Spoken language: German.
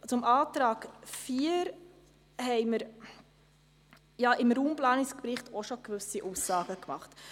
Zum Antrag 4 haben wir im Raumplanungsbericht ja auch bereits gewisse Aussagen gemacht.